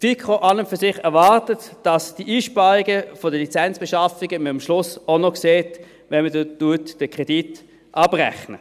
An und für sich erwartet die FiKo, dass man die Einsparungen der Lizenzbeschaffungen am Schluss auch noch sieht, wenn man den Kredit abrechnet.